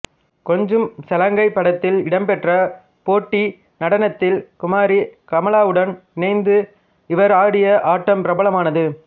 கொஞ்சும் சலங்கை படத்தில் இடம்பெற்ற போட்டி நடனத்தில் குமாரி கமலாவுடன் இணைந்து இவர் ஆடிய ஆட்டம் பிரபலமானது